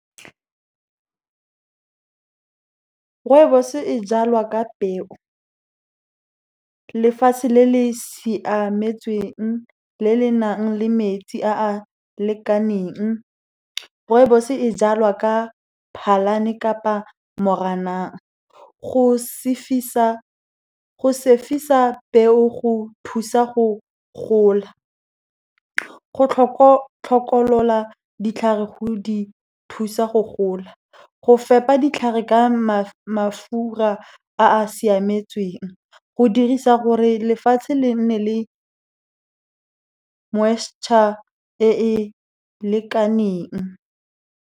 Rooibos-e e jalwa ka peu, lefatshe le le siametsweng, le le nang le metsi a a lekaneng. Rooibos-e e jalwa ka 'Phalane kapa Moranang. peu go thusa go gola, go hlokolola ditlhare go di thusa go gola, go fepa ditlhare ka mafura a a siametsweng, go dirisa gore lefatshe le nne le moisture e e lekaneng.